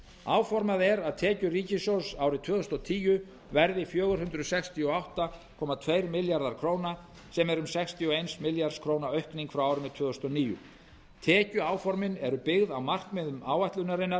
áformað er að tekjur ríkissjóðs árið tvö þúsund og tíu verði fjögur hundruð sextíu og átta komma tveir milljarðar króna sem er um sextíu og eins milljarðs króna aukning frá árinu tvö þúsund og níu tekjuáformin eru byggð á markmiðum áætlunarinnar